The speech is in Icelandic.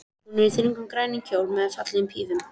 Hún er í þröngum, grænum kjól með fallegum pífum.